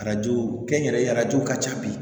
Arajo kɛnyɛrɛye arajo ka ca bi